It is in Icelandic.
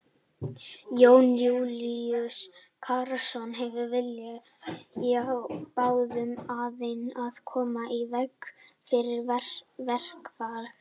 Jón Júlíus Karlsson: Er vilji hjá báðum aðilum að koma í veg fyrir verkfall?